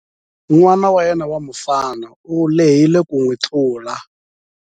N'ana wa yena wa mufana u lehile ku n'wi tlula.